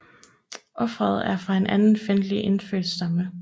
Ofret er fra en anden fjendtlig indfødt stamme